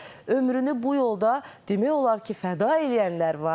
Ömrünü bu yolda demək olar ki, fəda eləyənlər var.